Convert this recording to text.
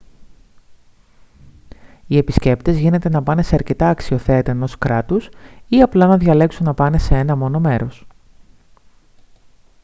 οι επισκέπτες γίνεται να πάνε σε αρκετά αξιοθέατα ενός κράτους ή απλά να διαλέξουν να πάνε σε ένα μόνο μέρος